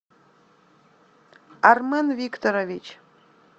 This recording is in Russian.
армен викторович